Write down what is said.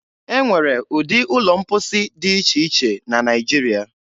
E nwere ụdị ụlọ mposi dị iche iche na Naịjiria.